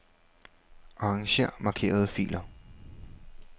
Arranger markerede filer.